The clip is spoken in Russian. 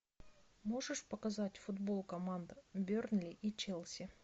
можешь показать футбол команд бернли и челси